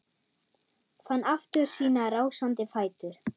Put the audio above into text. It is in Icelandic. Fann aftur sína rásandi fætur.